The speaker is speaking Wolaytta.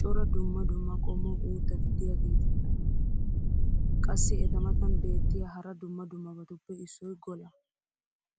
cora dumma dumma qommo uuttati diyaageti ayba lo'iyoonaa? Qassi eta matan beetiya hara dumma dummabatuppe issoy golaa.